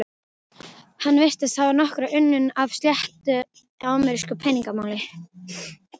Hann virtist hafa nokkra unun af að sletta amerísku peningamáli.